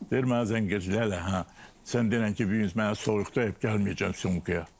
Deyir mənə zəng edir Leyla, hə sən denən ki, bu gün mənə soyuq dəyib gəlməyəcəm çəkilşə.